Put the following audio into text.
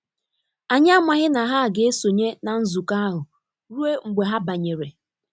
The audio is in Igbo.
Anyị amaghị na ha ga esonye na nzukọ ahụ ruo mgbe ha banyere.